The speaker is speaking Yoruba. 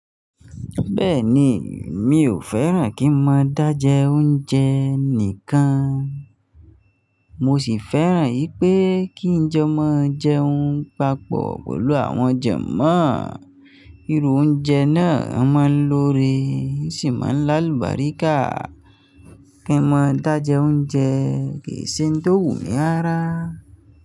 Bẹ́ẹ̀ni, mi ò fẹ́ràn kí n máa dá jẹ oúnjẹ nìkan, mo sì fẹ́ràn wípé kí njọ máa jẹun papọ̀ pẹ̀lú àwọn janmọ́. Irú oúnjẹ náà máa ń lọ́ore e sì máa ń láàlú bàríkà. Kí n máa dá jẹ oúnjẹ kì í ṣe n tó wù mí rara.